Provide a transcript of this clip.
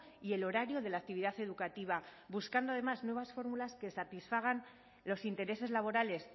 y el horario de la actividad educativa buscando además nuevas fórmulas que satisfagan los intereses laborales